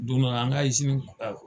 Don dɔ la an ka